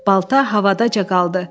Balta havadaca qaldı.